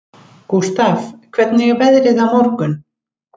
Gústaf, hvernig er veðrið á morgun?